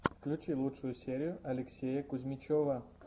включи лучшую серию алексея кузьмичева